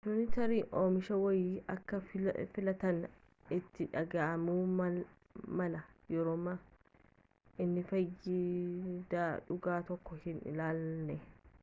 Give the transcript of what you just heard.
atileetotni tarii oomisha wayii akka filatan itti dhaga'amuu mala yerooma inni faayidaa dhugaa tokko hin laannellee